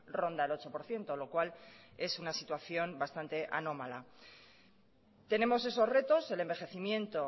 ronda el ocho por ciento lo cual es una situación bastante anómala tenemos esos retos el envejecimiento